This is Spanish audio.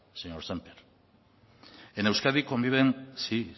señor sémper en euskadi conviven sí